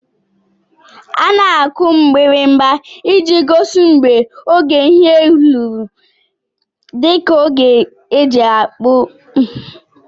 Ana akụ mgbirimgba iji gosi mgbe ógè ihe lụrụ dika ógè eji apụ breeki.